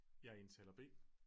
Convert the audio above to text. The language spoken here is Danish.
Jeg er indtaler B